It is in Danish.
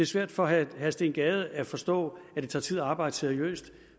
svært for herre steen gade at forstå at det tager tid at arbejde seriøst